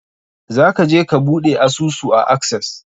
Za ka je ka buɗe asusu a Access?